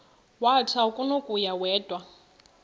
wathi akunakuya wedw